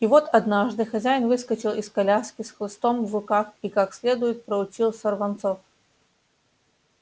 и вот однажды хозяин выскочил из коляски с хлыстом в руках и как следует проучил сорванцов